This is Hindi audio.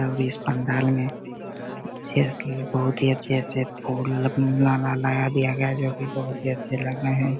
और इस पंडाल में अच्छे से बहुत ही अच्छे से फूल माला लगा दिया गया है जो की बहोत ही अच्छे लग रहे हैं।